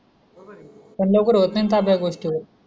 पण लवकर होत नाही न ताबा या गोष्टीवर